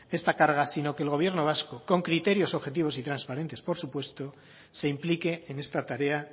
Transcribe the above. esta carga sino que el gobierno vasco con criterios objetivos y transparentes por supuesto se implique en esta tarea